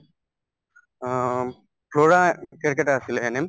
অম্ ফ্লৰা আছিলে ANM